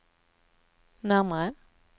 närmare